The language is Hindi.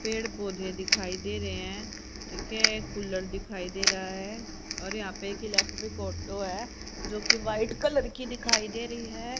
पेड़ पौधे दिखाई दे रहे हैं ठीक है कूलर दिखाई दे रहा है और यहां पे एक इलेक्ट्रिक ऑटो है जो की वाइट कलर की दिखाई दे रही है।